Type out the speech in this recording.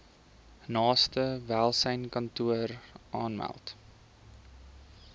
naaste welsynskantoor aanmeld